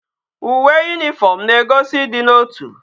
Uwe uniform na egosi idi na otu